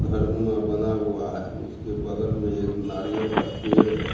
घर नुमा बना हुआ है उसके बगल में एक नारियल का पेड़ है।